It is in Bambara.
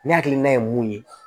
Ne hakilina ye mun ye